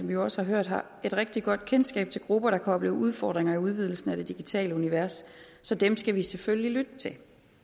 vi jo også har hørt et rigtig godt kendskab til grupper der kan opleve udfordringer i udvidelsen af det digitale univers så dem skal vi selvfølgelig lytte til